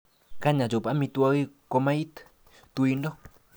Kany achop amitwogik komait tuindo